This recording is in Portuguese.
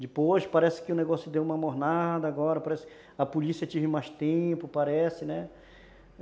Depois parece que o negócio deu uma mornada agora, parece que a polícia teve mais tempo, parece, né?